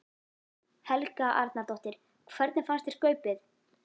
Helga Arnardóttir: Hvernig fannst þér skaupið?